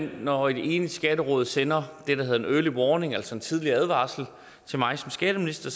når et enigt skatteråd sender det der hedder en early warning altså en tidlig advarsel til mig som skatteminister